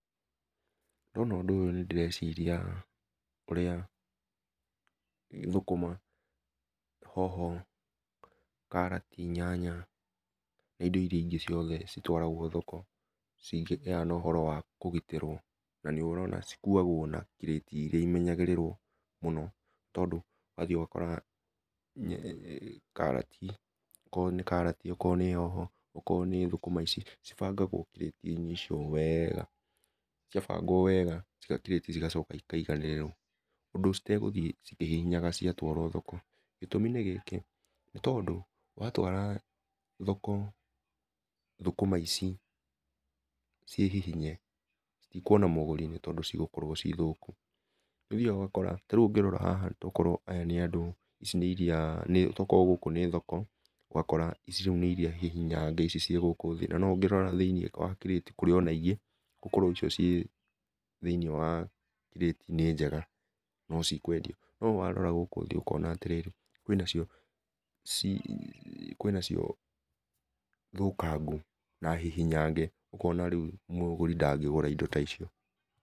Ndona ũndũ ũyũ nĩ ndĩreciria ũrĩa thũkũma, hoho, karati, nyanya na indo irĩa ciothe itwaragwo thoko, cingĩgĩaa na ũhoro wa kũgitĩrwo na cĩkũagwo na kirĩti ĩmenyagĩrĩrwo mũno, tondũ nĩ ũthĩaga ũgakora okorwo nĩ karatĩ okorwo nĩ hoho okorwo nĩ thũkũma ici ĩbangagwo kirĩti-inĩ icio wega cia bangwo wega kĩrĩtĩ, igacoka ikaĩganĩrĩrwo ũndũ itegũthiĩ ikĩhihinyanaga ciatwarwo thoko, gĩtũmi nĩ gĩkĩ, nĩ tondũ wa twara thoko thũkũma ici ciĩhihinye itĩkũona mũgũri, nĩ tondũ cigũkorwo ci thũkũ. Nĩ ũthĩaga ũgakora, ta rĩũ ũngĩrora haha, to korwo aya nĩ andũ ici nĩ irĩa, nĩ to korwo gũkũ nĩ thoko ũgakora ici nĩ irĩa hihinyange no ũngĩrora thĩiniĩ wa kirĩti kũrĩ ona ingĩ icio ci thĩiniĩ wa kirĩti nĩ njega no cikwendio, no warora gũkũ thĩ ũkona atĩrĩrĩ kwĩna cio ĩ kwĩna cio thũkangũ na hihinyange ũkona rĩũ mũgũri ndangĩgũra indo ta icio.